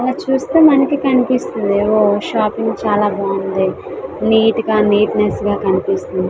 మనము చుస్తే మనకి కనిపిస్తుంది. ఓ షాపింగ్ చాల బాగుంది నీట్ గ నియన్స్ గ కనిపిస్తుంది.